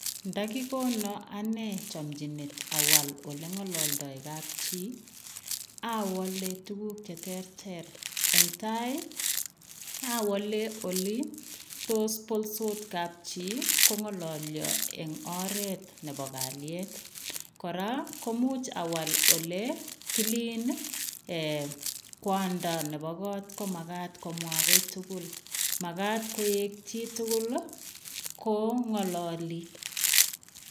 Nda kikonaan anei chamchineet aswaa ole ngalaldaa kapchii ii awale tuguuk che terter eng tai ii awale ole tos boltos kapchii ko ngalalyaa eng oret nebo kaliet, koraa komuuch awal ole Killeen kwandaa nebo koot komagaat komwah kiit tugul, magaat koek chi tugul ko ngalalii.